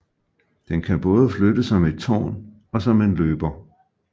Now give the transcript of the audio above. Den kan både flytte som et tårn og som en løber